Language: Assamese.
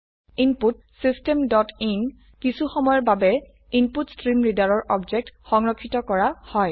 ইনপুট চিষ্টেম ডট ইন কিছুসময়ৰ বাবে InputStreamReaderৰ অবজেক্ট সংৰক্ষিত কৰা হয়